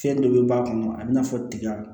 Fɛn dɔ bɛ b'a kɔnɔ a bɛ n'a fɔ tiga